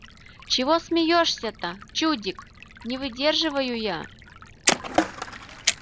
чего смеёшься-то чудик не выдерживаю я